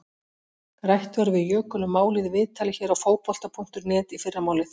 Rætt verður við Jökul um málið í viðtali hér á Fótbolta.net í fyrramálið.